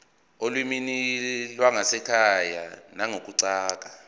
olimini lwasekhaya nangokuguquka